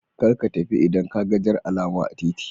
Karka tafi idan kaga Jar alama a titi.